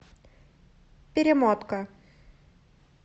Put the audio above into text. перемотка